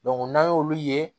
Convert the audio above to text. n'an y'olu ye